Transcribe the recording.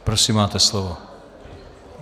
Prosím, máte slovo.